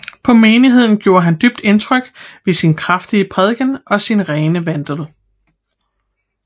På menigheden gjorde han dybt indtryk ved sin kraftige prædiken og sin rene vandel